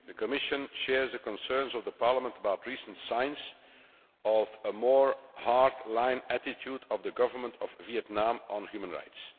The Commission shares the concerns of Parliament about recent signs of a more hard line attitude of the Government of Vietnam on human rights.